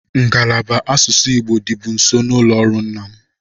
Ngalaba asụsụ Igbo dịbu nso n'ụlọ ọrụ nna m.